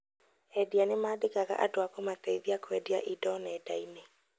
Endia nĩ mandĩkaga andũ a kũmateithia kwendia indo nenda-inĩ